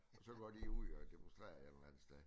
Så går de ud og demonstrerer et eller andet sted